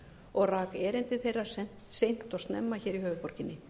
og rak erindi þeirra seint og snemma hér í höfuðborginni